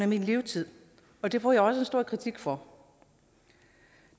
min levetid og det får jeg også stor kritik for